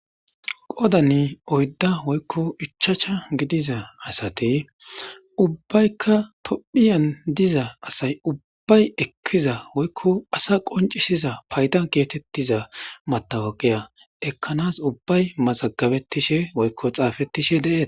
qodani oydda woykko ichacha gidiza asati ubbaykka tophiyan diza asay ubbay ekkiza woykko asa qoncishiza payda giyatettiza matawaqiya ekkanas ubbay mazagabettishe woykko xaafettishe deet